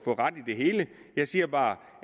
har ret i det hele jeg siger bare